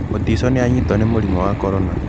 Mutiso nĩ anyitwo nĩ mũrimũ wa corona.